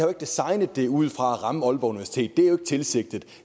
designet det ud fra at ramme aalborg universitet det er jo ikke tilsigtet